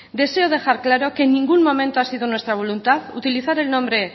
deseo dejar claro que en ningún momento ha sido nuestra voluntad utilizar el nombre